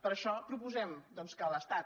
per això proposem doncs que l’estat